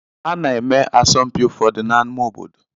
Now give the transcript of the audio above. Ana-eme asọmpi ụfọdụ n'amá obodo.